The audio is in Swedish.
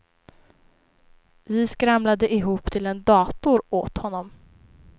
Vi skramlade ihop till en dator åt honom.